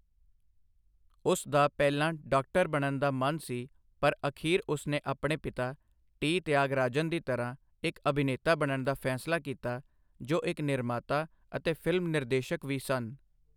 ਉਸ ਦਾ ਪਹਿਲਾਂ ਡਾਕਟਰ ਬਣਨ ਦਾ ਮਨ ਸੀ ਪਰ ਅਖੀਰ ਉਸ ਨੇ ਆਪਣੇ ਪਿਤਾ ਟੀ. ਤਿਆਗਾਰਾਜਨ ਦੀ ਤਰ੍ਹਾਂ ਇੱਕ ਅਭਿਨੇਤਾ ਬਣਨ ਦਾ ਫੈਸਲਾ ਕੀਤਾ, ਜੋ ਇੱਕ ਨਿਰਮਾਤਾ ਅਤੇ ਫਿਲਮ ਨਿਰਦੇਸ਼ਕ ਵੀ ਸਨ।